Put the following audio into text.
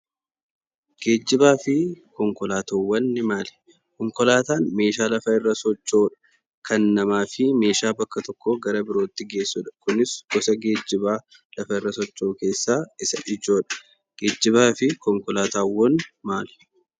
Geejjibaa fi konkolaataawwan maali? Konkolaataan meeshaa lafa irra socho'udha. Kan namaa fi meeshaa bakka tokkoo gara birootti geessudha. Kunis gosa geejjibaa lafa irra socho'u keessaa isa ijoodha. Geejjibaa fi konkolaataawwan maali?